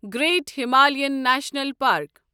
great Himalayan national park